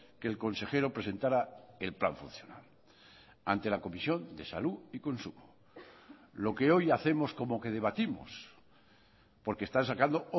que el consejero presentará el plan funcional ante la comisión de salud y consumo lo que hoy hacemos como que debatimos porque están sacando